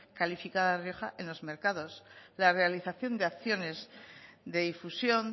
calificada rioja en los mercados la realización de acciones de difusión